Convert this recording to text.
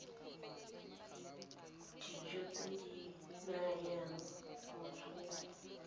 dijo tse di nayang botsogo